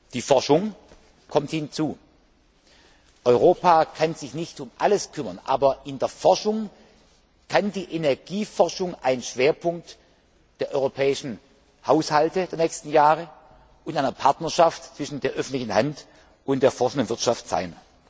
Die Forschung kommt hinzu. Europa kann sich nicht um alles kümmern, aber die Energieforschung kann ein Schwerpunkt der europäischen Haushalte der nächsten Jahre und einer Partnerschaft zwischen der öffentlichen Hand und der forschenden Wirtschaft sein.